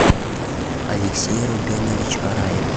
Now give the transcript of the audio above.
алексей рубенович араев